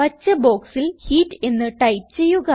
പച്ച ബോക്സിൽ ഹീറ്റ് എന്ന് ടൈപ്പ് ചെയ്യുക